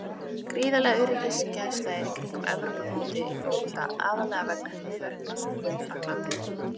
Gríðarleg öryggisgæsla er í kringum Evrópumótið í fótbolta, aðallega vegna hryðjuverkaógnar í Frakklandi.